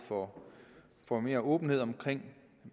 får mere åbenhed om